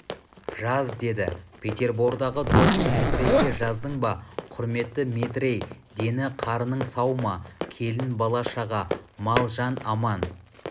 жаз деді петербордағы досым метрейге жаздың ба құрметті метрей дені-қарның сау ма келін бала-шаға мал-жан аман